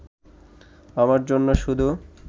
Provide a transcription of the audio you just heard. আমার জন্য শুধু